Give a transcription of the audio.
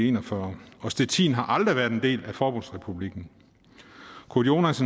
en og fyrre og stettin har aldrig været en del af forbundsrepublikken kurt jonas